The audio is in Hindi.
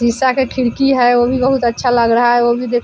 शीशा का खिड़की है वो भी बोहोत अच्छा लग रहा है वो भी देख --